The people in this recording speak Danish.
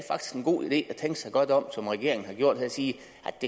god idé at tænke sig godt om som regeringen har gjort og sige